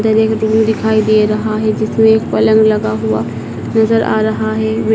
दिखाई दे रहा है जिसमें एक पलंग लगा हुआ नजर आ रहा है।